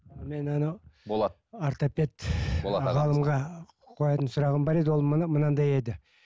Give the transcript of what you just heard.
мен ана болат ортопед ғалымға қоятын сұрағым бар еді ол мынандай еді